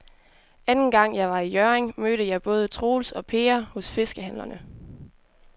Anden gang jeg var i Hjørring, mødte jeg både Troels og Per hos fiskehandlerne.